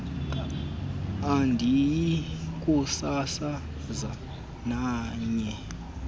andiyi kusasaza nanye